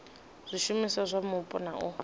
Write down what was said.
zwishumiswa zwa mupo na u